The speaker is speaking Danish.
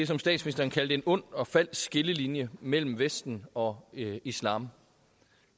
som statsministeren kaldte en ond og falsk skillelinje mellem vesten og islam